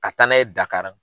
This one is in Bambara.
Ka taa na' ye Dakari.